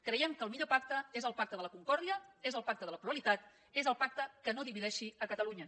creiem que el millor pacte és el pacte de la concòrdia és el pacte de la pluralitat és el pacte que no divideixi catalunya